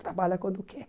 Trabalha quando quer.